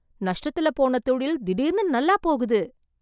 நஷ்டத்துல போன தொழில் திடீர்னு நல்லா போகுது.